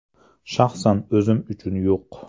Shaxsan o‘zim uchun yo‘q.